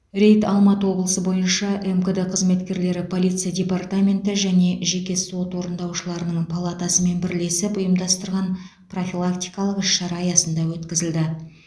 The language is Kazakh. рейд алматы облысы бойынша мкд қызметкерлері полиция департаменті және жеке сот орындаушыларының палатасымен бірлесіп ұйымдастырған профилактикалық іс шара аясында өткізілді